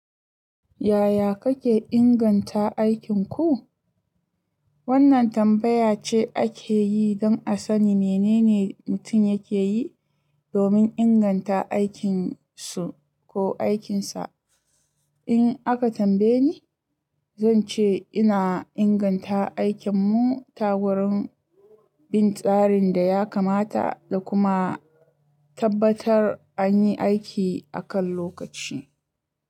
Yaya kake inganta aikinku? Wannan tambaya ce ake yi don a sani menene mutum yake yi domin inganta aikin su ko aikinsa. In aka tambaye ni, zan ce ina inganta aikinmu ta wurin bin tsarin da ya kamata da kuma tabbatar an yi aiki a kan lokaci.